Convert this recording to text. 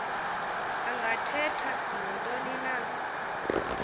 angathetha nantoni na